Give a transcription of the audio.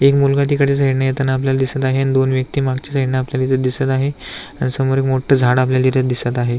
एक मुलगा तिकडच्या साइडने येताना आपल्याला दिसत आहे अन दोन व्यक्ति मागच्या साइडने आपल्याला दिसत आहे अन समोर एक मोठ झाड आपल्याला दिसत आहे.